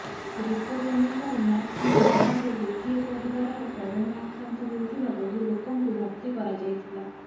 report ଅନୁସାରେ Max ମେଡିକାଲରେ ଗୋଟିଏ ପରିବାରର କରୋନା ଆକ୍ରାନ୍ତ ହୋଇଥିବା ବହୁ ଲୋକଙ୍କୁ ଭର୍ତ୍ତି କରାଯାଇଥିଲା